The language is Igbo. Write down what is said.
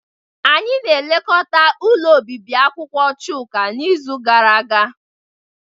Anyị na-elekọta ụlọ obibi akwụkwọ Chuka n'izu gara aga